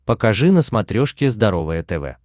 покажи на смотрешке здоровое тв